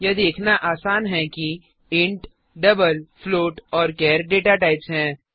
यह देखना आसान है कि इंट डबल floatऔर चार डेटा टाइप्स हैं